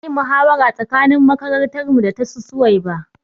Za ayi muhawara tsakanin makarantar mu da tasu suwaiba